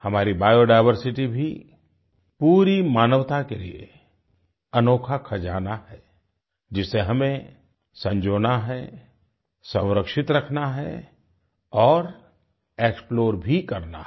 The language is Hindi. हमारी बायोडायवर्सिटी भी पूरी मानवता के लिए अनोखा खजाना है जिसे हमें संजोना है संरक्षित रखना है और एक्सप्लोर भी करना है